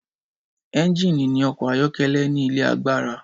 Ẹ́ngínì ní ọkọ̀ ayọ́kẹ́lẹ́ ní ilé agbára.